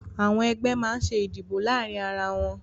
Àwọn ẹgbẹ́ máa ń ṣe ìdìbò láàárín ara wọn